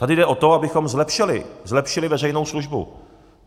Tady jde o to, abychom zlepšili, zlepšili veřejnou službu.